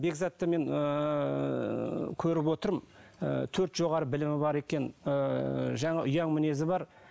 бекзатты мен ыыы көріп отырмын ы төрт жоғары білімі бар екен ыыы жаңағы ұяң мінезі бар